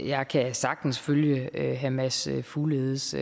jeg kan sagtens følge herre mads fugledes